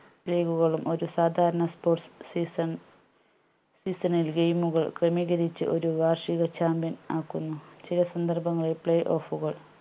league കളും ഒരു സാധാരണ sport season season ൽ game കൾ ക്രമീകരിച്ച് ഒരു വാർഷിക champion ആക്കുന്നു ചില സന്ദർഭങ്ങളിൽ play off കൾ